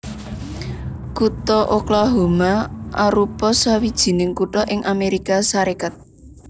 Kutha Oklahoma arupa sawijining kutha ing Amérika Sarékat